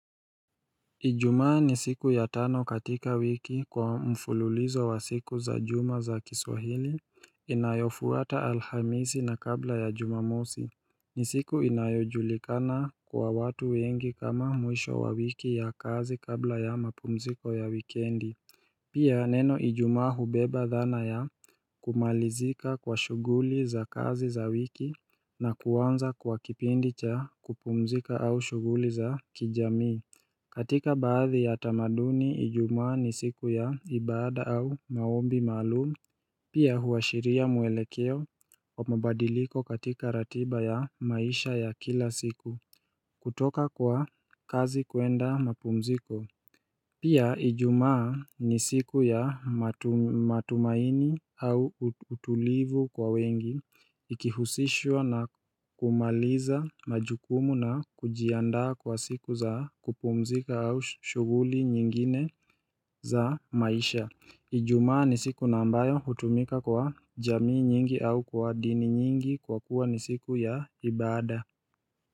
Ijumaa ni siku ya tano katika wiki kwa mfululizo wa siku za juma za kiswahili inayofuata alhamisi na kabla ya jumamosi ni siku inayojulikana kwa watu wengi kama mwisho wa wiki ya kazi kabla ya mapumziko ya wikendi Pia neno ijumaa hubeba dhana ya kumalizika kwa shughuli za kazi za wiki na kuanza kwa kipindi cha kupumzika au shughuli za kijamii katika baadhi ya tamaduni ijumaa ni siku ya ibada au maombi maalumu Pia huashiria muelekeo wa mabadiliko katika ratiba ya maisha ya kila siku kutoka kwa kazi kuenda mapumziko Pia ijumaa ni siku ya matumaini au utulivu kwa wengi, ikihusishwa na kumaliza majukumu na kujiandaa kwa siku za kupumzika au shughuli nyingine za maisha. Ijumaa ni siku na ambayo hutumika kwa jamii nyingi au kwa dini nyingi kwa kuwa ni siku ya ibada.